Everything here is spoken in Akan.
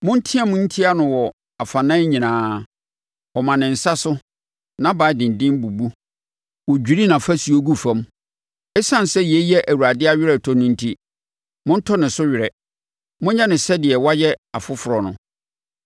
Monteam ntia no wɔ afanan nyinaa! Ɔma ne nsa so, nʼaban denden bubu, wɔdwiri nʼafasuo gu fam. Esiane sɛ yei yɛ Awurade aweretɔ no enti, montɔ ne so were; monyɛ no sɛdeɛ wayɛ afoforɔ no.